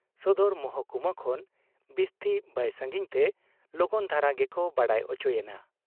ᱥᱚᱫᱚᱨ ᱢᱚᱦᱠᱩᱢᱟ ᱠᱷᱚᱱ ᱵᱤᱥᱛᱤ ᱵᱟᱭ ᱥᱟᱺᱜᱤᱧ ᱛᱮ ᱞᱚᱜᱚᱱ ᱫᱷᱟᱨᱟ ᱜᱮᱠᱚ ᱵᱟᱰᱟᱭ ᱚᱪᱚᱭᱮᱱᱟ ᱾